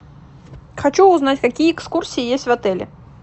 хочу узнать какие экскурсии есть в отеле